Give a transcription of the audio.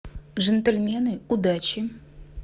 джентльмены удачи